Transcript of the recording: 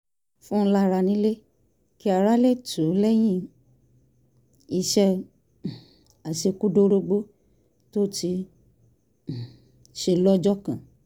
fún lára nílé kí ara lè tù ú lẹ́yìn iṣẹ́ um àṣekúdórógbó tó ti um ṣe lọ́jọ́ kan